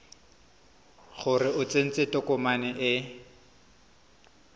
gore o tsentse tokomane e